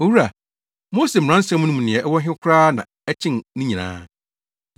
“Owura, Mose mmaransɛm no mu nea ɛwɔ he koraa na ɛkyɛn ne nyinaa?”